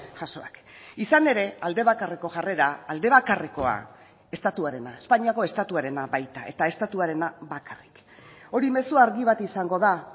jasoak izan ere alde bakarreko jarrera aldebakarrekoa estatuarena espainiako estatuarena baita eta estatuarena bakarrik hori mezu argi bat izango da